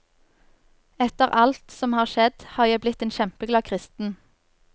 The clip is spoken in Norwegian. Etter alt som har skjedd, har jeg blitt en kjempeglad kristen.